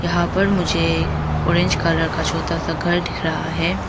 यहां पर मुझे ऑरेंज कलर का छोटा सा घर दिख रहा है।